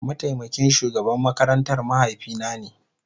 Mataimakin shugaban makarantar mahaifina ne.